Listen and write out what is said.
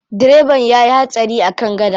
Direban ya yi hatsari a kan gada.